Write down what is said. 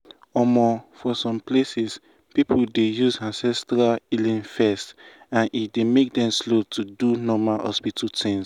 for um some places people dey use ancestral healing first and e dey make dem slow go do normal hospital things.